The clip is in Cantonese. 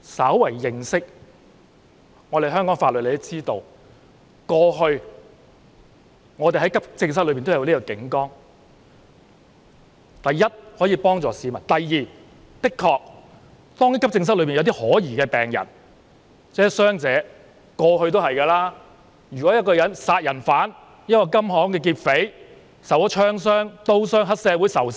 稍為認識香港法律的人也知道，過去急症室一直設有警崗，第一，可以幫助市民；第二，一如以往，當急症室裏有可疑的病人或傷者，例如殺人犯、受槍傷或刀傷的金行劫匪、黑社會仇殺受